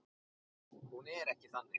Hún er ekki þannig.